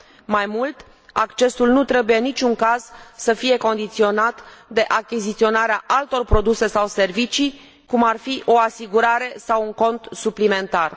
Mai mult, accesul nu trebuie în niciun caz să fie condiționat de achiziționarea altor produse sau servicii, cum ar fi o asigurare sau un cont suplimentar.